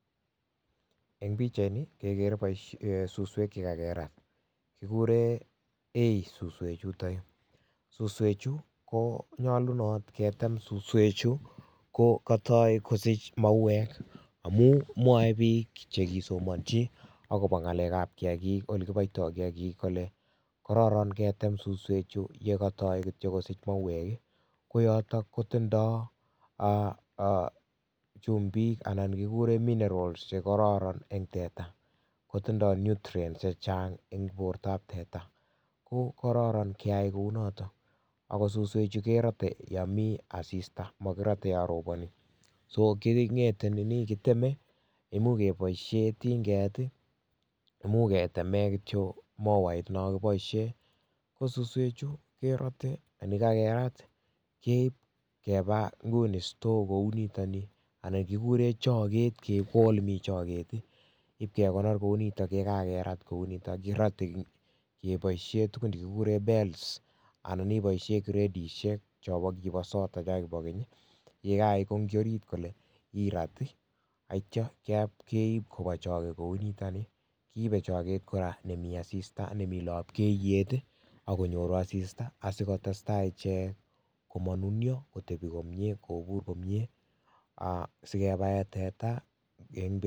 Eng pikchaini kekere suswek chekakerat kikure hey suswechutuk suswechu konyolunot ketem suswechu kokatoi kosich mauwek amun mwoei piik chekisomanchi akobo ngalek ab kiyakik ole kiboitoi kiyakik kole kororon ketem suswechu yekatoi kitcho kosich mauwek koyoto kotindoi chumbik anan kikure minerals chekororon eng teta kotindoi nutrients chechang eng borto ab teta ko kororon keyai kounoto ako suswechu kerotei yo Mii asista makirotei yo roponi kitemei imuch keboishee tinget muuch ketemee kitcho mowait nokiboishe ko suswechu kerotei nekakerat keib keba nguni store kou nitoni anan kikure choker keib olemitei choker ipkekonor kounito yekakerat kounito kirotei keboishee tukun chekikure bales anan iboishe gredishek chokibo sota cho kibo keny yekaikonji orit kole irat yetyo keib koba choke kounito I kiibei choker nemii asista nemi lapkeiyet akonyoru asista asikotestai ichek komanunyo kotebi komyee kobuur komyee sikebae teta.